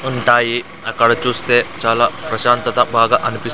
ఉంటాయి అక్కడ చూస్తే చాలా ప్రశాంతత బాగా అనిపిస్తూ--